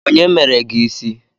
Onye mere gị ịsị?